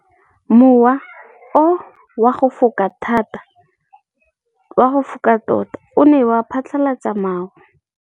Mowa o wa go foka tota o ne wa phatlalatsa maru.